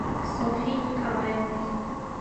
софьей николаевной